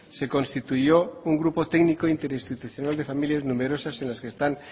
se constituyó un grupo técnico interinstitucional de familias numerosas en los que están